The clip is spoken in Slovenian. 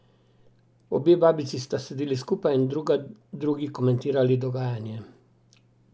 Obe babici sta sedeli skupaj in druga drugi komentirali dogajanje.